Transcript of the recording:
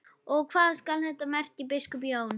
Og hvað skal þetta merkja, biskup Jón?